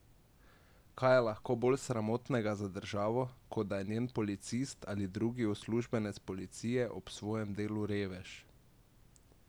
Kaj je lahko bolj sramotnega za državo, kot da je njen policist ali drugi uslužbenec policije ob svojem delu revež?